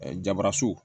jabaaso